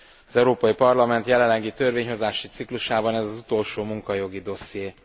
Az Európai Parlament jelenlegi törvényhozási ciklusában ez az utolsó munkajogi dosszié.